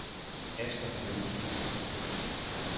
Asger Johnsen